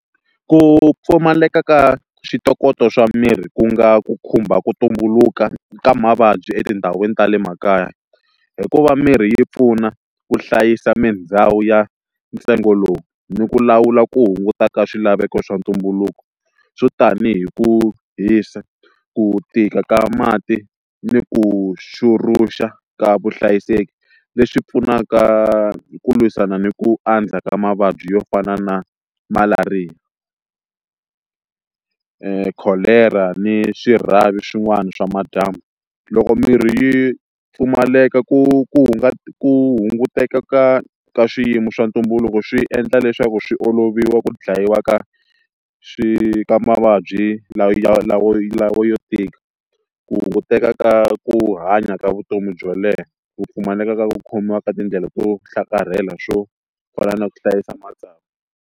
Ku pfumaleka ka switokotoko swa mirhi ku nga ku khumba ku tumbuluka ka mavabyi etindhawini ta le makaya hikuva mirhi yi pfuna ku hlayisa mindhawu ya ntsengo lowu ni ku lawula ku hunguta ka swilaveko swa ntumbuluko swo tanihi hi ku hisa ku tika ka mati ni ku xuruxa ka vuhlayiseki leswi pfunaka hi ku lwisana ni ku andza ka mavabyi yo fana na malariya kholera ni swirhavi swin'wana swa madyambu loko mirhi yi pfumaleka ku ku hunguteka ka ka swiyimo swa ntumbuluko swi endla leswaku swi oloviwa ku dlayiwa ka swi ka mavabyi lawa ya lawo lawo yo tika ku hunguteka ka ku hanya ka vutomi byo leha ku pfumaleka ka ku khomiwa ka tindlela to hlakarhela swo fana na ku hlayisa matsavu.